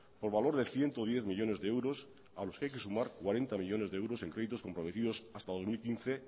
por valor de ciento diez millónes de euros a los que hay que sumar cuarenta millónes de euros en créditos comprometidos hasta dos mil quince